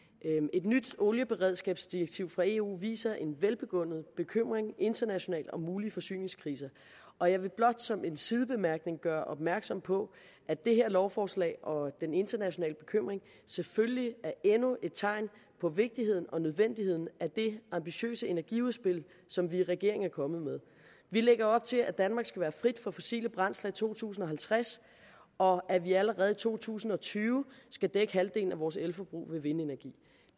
et nyt olieberedskabsdirektiv fra eu viser en velbegrundet bekymring internationalt om mulige forsyningskriser og jeg vil blot som en sidebemærkning gøre opmærksom på at det her lovforslag og den internationale bekymring selvfølgelig er endnu et tegn på vigtigheden og nødvendigheden af det ambitiøse energiudspil som vi i regeringen er kommet med vi lægger op til at danmark skal være fri for fossile brændsler i to tusind og halvtreds og at vi allerede i to tusind og tyve skal dække halvdelen af vores elforbrug ved vindenergi